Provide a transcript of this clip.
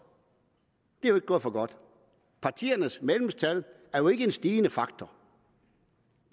det er jo ikke gået for godt partiernes medlemstal er jo ikke en stigende der